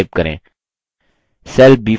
cell b5 पर click करें